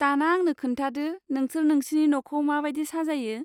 दाना आंनो खोन्थादो नोंसोर नोंसिनि न'खौ माबादि साजायो?